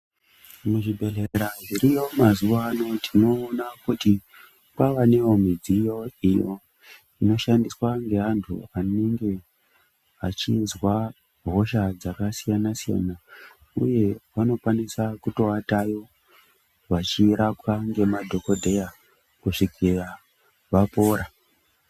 Muzvibhedhlera zviriyo mazuva ano tinona kuti kwavanevo midziyo iyo inoshandiswa ngevantu vanenge vachinzwa hosha dzakasiyana-siyana, uye vanokwanisa kutovatayo vachirapwa ngemadhogodheya kusvikira vapora.